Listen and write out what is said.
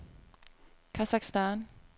Kasakhstan